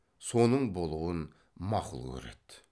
соның болуын мақұл көреді